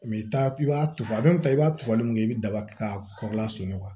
i ta i b'a turu a bɛ tan i b'a turuli min kɛ i bɛ daba k'a kɔrɔ lasuna